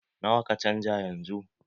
Nawa ka canja yanzu?